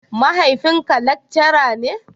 Mahaifin ka lekcara ne?